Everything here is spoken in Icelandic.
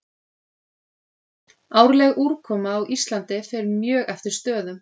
Árleg úrkoma á Íslandi fer mjög eftir stöðum.